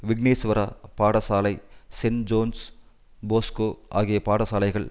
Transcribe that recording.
விக்னேஸ்வரா பாடசாலை St John's Bosco ஆகிய பாடசாலைகள்